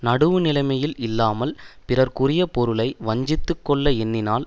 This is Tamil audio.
நடுவு நிலைமையில் இல்லாமல் பிறர்க்குரிய பொருளை வஞ்சித்து கொள்ள எண்ணினால்